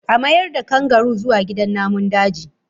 A mayar da kangaroo zuwa gidan namun daji!